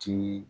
Ti